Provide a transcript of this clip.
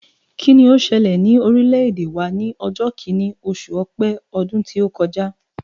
Kíni ó ṣẹlẹ̀ ní orílẹ̀-èdè wa ní ọjọ́ kìíní, oṣù Ọpẹ́ ọdún tí ó kọjá?